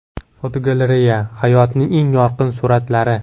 Fotogalereya: Hayotning eng yorqin suratlari.